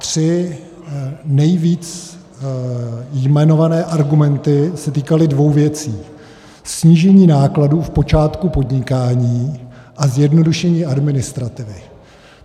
Tři nejvíce jmenované argumenty se týkaly dvou věcí: snížení nákladů v počátku podnikání a zjednodušení administrativy.